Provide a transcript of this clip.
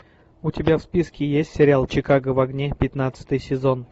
у тебя в списке есть сериал чикаго в огне пятнадцатый сезон